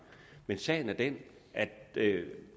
men sagen er den at det